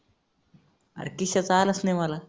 अरे किशोरचा आलाच नाही मला.